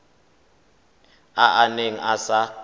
a a neng a sa